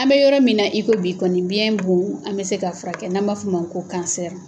An bɛ yɔrɔ min na i komi bi kɔni , biyɛn bon , an bɛ se k'a furakɛ n'an b'a fɔ o ma ko kansɛri!